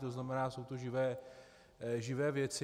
To znamená, jsou to živé věci.